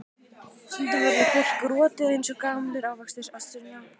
Stundum verður fólk rotið eins og gamlir ávextir, Sunna.